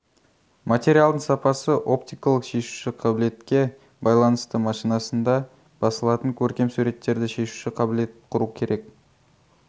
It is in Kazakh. материалдың сапасы оптикалық шешуші қабілетке байланысты машинасында басылатын көркем суреттерде шешуші қабілет құру керек